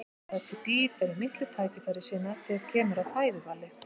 þessi dýr eru miklir tækifærissinnar þegar kemur að fæðuvali